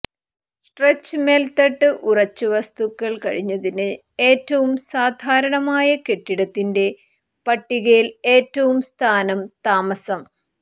stretch മേൽത്തട്ട് ഉറച്ചു വസ്തുക്കൾ കഴിഞ്ഞതിന് ഏറ്റവും സാധാരണമായ കെട്ടിടത്തിന്റെ പട്ടികയിൽ ഏറ്റവും സ്ഥാനം താമസം